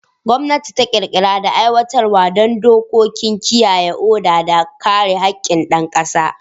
Gwamnati ta ƙirƙira da aiwatar da dokoki don kiyaye oda da kare haƙƙin ƴan ƙasa.